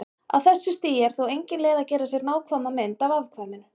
Á þessu stigi er þó engin leið að gera sér nákvæma mynd af afkvæminu.